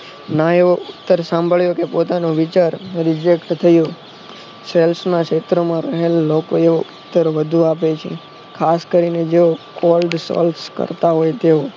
ના એવો ઉતર સાંભળ્યો કે પોતાનો વિચાર reject થયો sales ના ક્ષેત્રમા real નો કર્યો વધુ આપે છે ખાસ કરીને જો cold sois કરતા હોય તેઓ